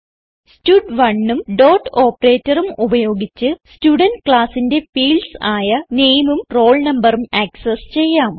സ്റ്റഡ്1 ഉം ഡോട്ട് operatorഉം ഉപയോഗിച്ച് സ്റ്റുഡന്റ് ക്ലാസ്സിന്റെ ഫീൽഡ്സ് ആയ nameഉം roll noഉം ആക്സസ് ചെയ്യാം